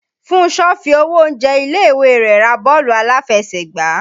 Fúnṣọ fi owó oúnjẹ ilé-ìwé rẹ̀ ra bọ́ọ̀lù aláfẹsẹ̀gbá